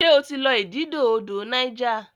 ṣe o tí lọ ididò odò Niger?